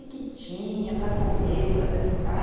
O que tinha para comer, para dançar?